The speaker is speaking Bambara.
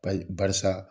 Bayi barisa